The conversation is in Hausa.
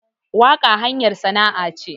Waƙa hanyar sana'a ce